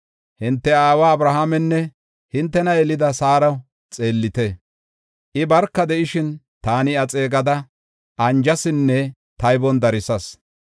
Hinte aawa Abrahaamenne hintena yelida Saaro xeellite. I barka de7ishin, taani iya xeegada anjasinne taybon darsas.